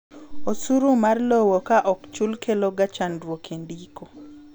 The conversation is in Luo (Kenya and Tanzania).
osuru mar lowo ka ok ochul kelo ga chandruok e ndiko